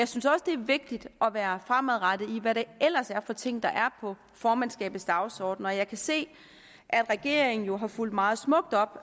synes også det er vigtigt at være fremadrettet i hvad det ellers er for ting der er på formandskabets dagsorden jeg kan se at regeringen har fulgt meget smukt op